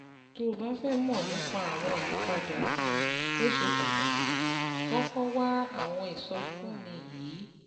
Tó o bá fẹ́ mọ̀ nípa àwọn ìyípadà um tó ṣe pàtàkì, kọ́kọ́ wá àwọn ìsọfúnni yìí